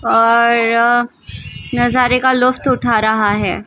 ओर नज़ारे का लुफ़त उठा रहा हे।